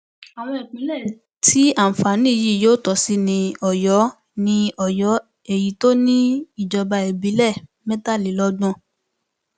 àwọn ìpínlẹ tí àǹfààní yìí yóò tọ sí ni ọyọ ni ọyọ èyí tó ní ìjọba ìbílẹ mẹtàlélọgbọn